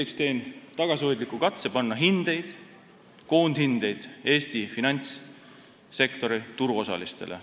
Esiteks teen tagasihoidliku katse panna hindeid, koondhindeid Eesti finantssektori turuosalistele.